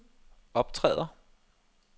optræder